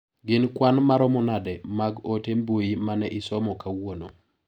Gin kwan maromo nade mag ote mbui mane isomo kawuono